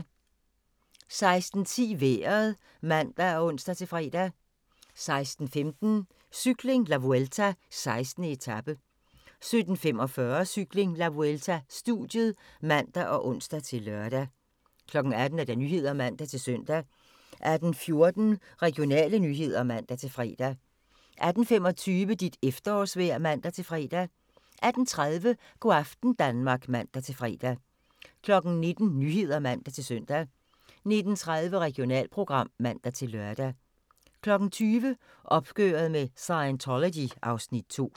16:10: Vejret (man og ons-fre) 16:15: Cykling: La Vuelta - 16. etape 17:45: Cykling: La Vuelta - studiet (man og ons-lør) 18:00: Nyhederne (man-søn) 18:14: Regionale nyheder (man-fre) 18:25: Dit efterårsvejr (man-fre) 18:30: Go' aften Danmark (man-fre) 19:00: Nyhederne (man-søn) 19:30: Regionalprogram (man-lør) 20:00: Opgøret med Scientology (Afs. 2)